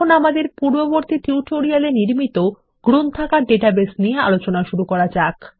এখন আমাদের পূর্ববর্তী টিউটোরিয়াল এ নির্মিত গ্রন্থাগার ডাটাবেস নিয়ে আলোচনা শুরু করা যাক